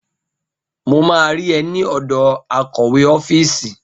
Mo máa rí ẹ ní ọ̀dọ̀ akọ̀wé ọ́fíìsì.